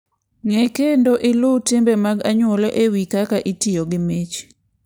Ng'e kendo iluw timbe mag anyuola e wi kaka itiyo gi mich.